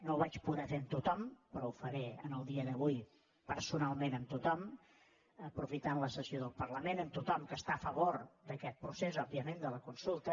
no ho vaig poder fer amb tothom però ho faré en el dia d’avui personalment amb tothom aprofitant la sessió del parlament amb tothom que està a favor d’aquest procés òbviament de la consulta